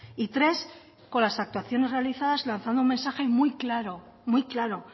y tres con las actuaciones realizadas lanzando un mensaje muy claro muy claro